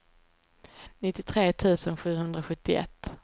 nittiotre tusen sjuhundrasjuttioett